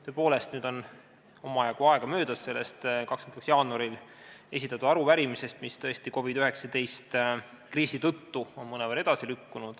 Tõepoolest, nüüd on omajagu aega möödas sellest 22. jaanuarist, kui esitati arupärimine, millele vastamine on COVID-19 kriisi tõttu mõnevõrra edasi lükkunud.